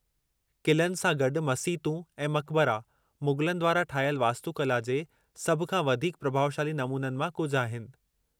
क़िलनि सां गॾु मसीतूं ऐं मक़बरा, मुग़लनि द्वारां ठाहियल वास्तुकला जे सभु खां वधीक प्रभाउशाली नमूननि मां कुझु आहिनि।